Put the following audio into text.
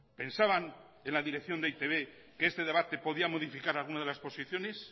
pensaban en la dirección de e i te be que este debate podía modificar alguna de las posiciones